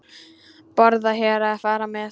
Borða hér eða fara með?